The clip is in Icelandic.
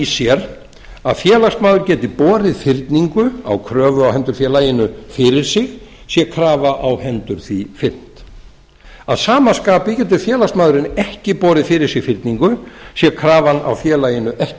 sér að félagsmaður geti borið fyrningu á kröfu á hendur félaginu fyrir sig sé krafa á hendur því fyrnd að sama skapi getur félagsmaðurinn ekki borið fyrir sig fyrningu sé krafan á félaginu ekki